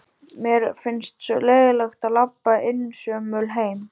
Mér finnst svo leiðinlegt að labba einsömul heim.